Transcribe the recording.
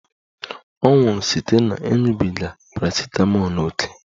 Ọ nwụrụ site na ịṅụbiga parasitamọl ókè